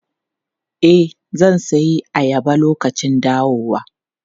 E, zan sayi ayaba lokacin dawowa.